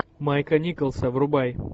майка николса врубай